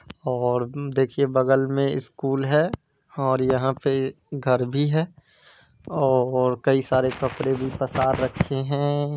और देखिए बगल में स्कूल है और यहाँ पे घर भी है और कई सारे कपड़े भी पसार रखे है।